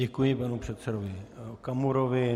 Děkuji panu předsedovi Okamurovi.